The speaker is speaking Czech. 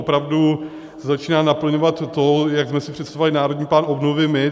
Opravdu se začíná naplňovat to, jak jsme si představovali Národní plán obnovy my.